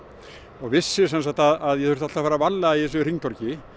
og vissi að ég þurfti alltaf að fara varlega í þessu hringtorgi